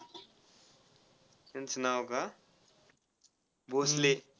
त्यांचं नाव का? भोसले.